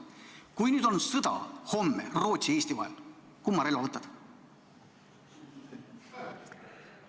Kui nüüd homme hakkab sõda Rootsi ja Eesti vahel, kumma relva võtad?